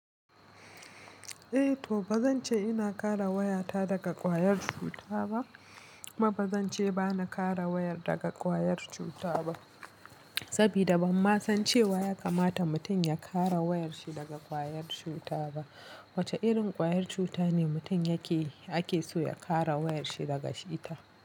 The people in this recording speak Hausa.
Eh to bazan ce ina kare wayata daga ƙwayar cuta ba kuma bazan ce bana kare wayar daga ƙwayar cuta ba. Saboda ban ma san cewa ya kamata mutum ya kare wayar shi daga ƙwayar cuta ba. Wace irin ƙwayar cuta ne mutum yake ake so ya kare wayar shi daga ita?